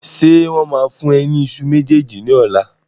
Ṣé wọn máa fún ẹ ní ìṣù méjèèjì ní ọ̀la?